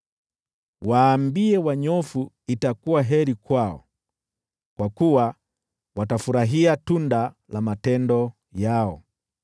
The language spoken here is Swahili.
Waambie wanyofu itakuwa heri kwao, kwa kuwa watafurahia tunda la matendo yao.